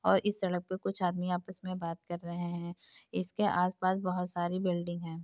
और इस सड़क पे कुछ आदमी आपस में बात कर रहे हैं। इसके आस पास बहोत सारी बिल्डिंग है।